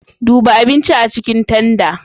Duba abinci a cikin tanda.